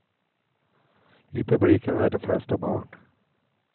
I publiken är de flesta barn.